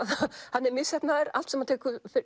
hann er misheppnaður allt sem hann tekur